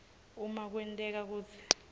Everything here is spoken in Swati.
uma kwenteka kutsi